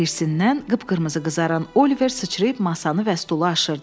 Hirsindən qıpqırmızı qızaran Oliver sıçrayıb masanı və stulu aşırdı.